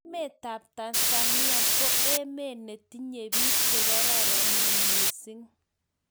emetab Tanzania ko emet ne tinyei biik che kororonen mising.